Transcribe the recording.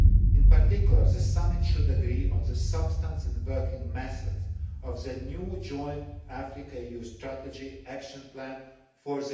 In particular, the summit should agree on the substance and working methods of the new Joint Africa EU strategy and the Action Plan for